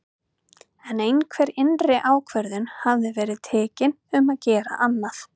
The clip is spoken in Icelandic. En einhver innri ákvörðun hafði verið tekin um að gera annað.